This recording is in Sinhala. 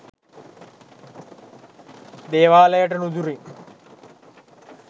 දේවාලයට නුදුරින්